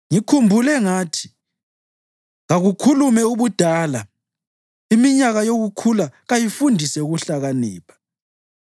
Ngikhumbule ngathi, ‘Kakukhulume ubudala; iminyaka yokukhula kayifundise ukuhlakanipha.’